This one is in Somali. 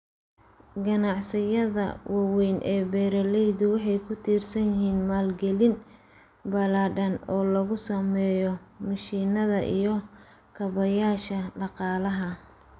Ganacsiyada waaweyn ee beeralaydu waxay ku tiirsan yihiin maalgelin ballaadhan oo lagu sameeyo mishiinada iyo kaabayaasha dhaqaalaha.